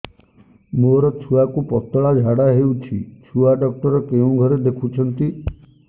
ମୋର ଛୁଆକୁ ପତଳା ଝାଡ଼ା ହେଉଛି ଛୁଆ ଡକ୍ଟର କେଉଁ ଘରେ ଦେଖୁଛନ୍ତି